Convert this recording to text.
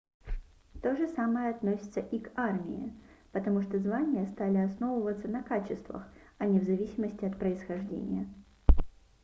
то же самое относится и к армии потому что звания стали основываться на качествах а не в зависимости от происхождения